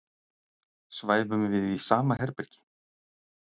Svæfum við í sama herbergi?